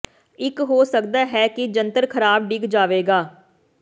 ਇਹ ਹੋ ਸਕਦਾ ਹੈ ਕਿ ਜੰਤਰ ਖਰਾਬ ਡਿੱਗ ਜਾਵੇਗਾ